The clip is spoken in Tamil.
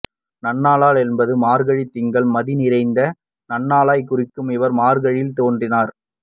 நன்னாளால் என்பது மார்கழித் திங்கள் மதி நிறந்த நன்னாளைக் குறிக்கும் இவர் மார்கழியில் தோன்றினார்